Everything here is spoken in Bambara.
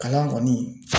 Kalan kɔni